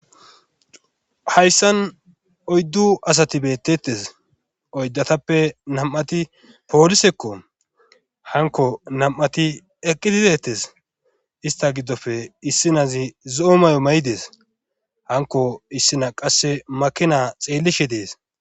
Hayssan oyddu asati bettettes oyddatappe nam7ati poolisekko hanko nam7ati eqqididetes ista giddofe issinazi zo7o may7o ma7i dees hanko issina qasse makina xeellishe dees.